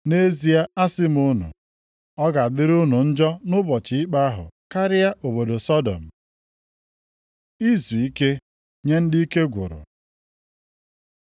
Nʼezie asị m unu, ọ ga-adịrị unu njọ nʼụbọchị ikpe ahụ karịa obodo Sọdọm.” Izuike nye ndị ike gwụrụ